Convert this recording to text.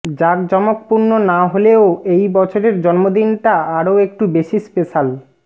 জাকজমকপূর্ণ না হলেও এই বছরের জন্মদিনটা আরও একটু বেশি স্পেশ্যাল